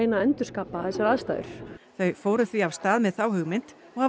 að endurkapa þessar aðstæður þau fóru því af stað með þá hugmynd og hafa